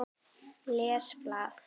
Les blað.